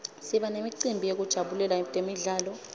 siba nemicimbi yekujabulela temidlalo